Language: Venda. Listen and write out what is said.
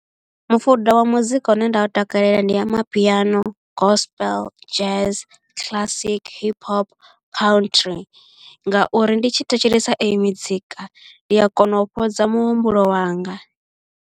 Mufuda wa muzika une nda u takalela ndi amapiano, gospel, jazz, classic, hip hop country ngauri ndi tshi thetshelesa eyo mizika ndi a kona u fhodza muhumbulo wanga.